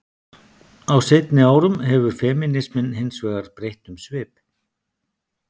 Á seinni árum hefur femínisminn hins vegar breytt um svip.